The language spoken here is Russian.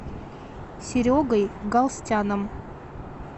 серегой галстяном